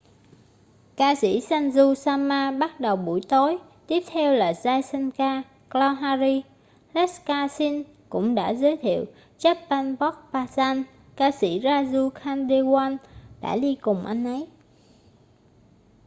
ca sĩ sanju sharma bắt đầu buổi tối tiếp theo là jai shankar choudhary lakkha singh cũng đã giới thiệu chhappan bhog bhajan ca sĩ raju khandelwal đã đi cùng anh ấy